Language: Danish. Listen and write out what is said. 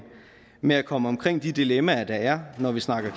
med at komme omkring de dilemmaer der er når vi snakker